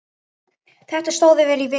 Þetta stóð yfir í viku.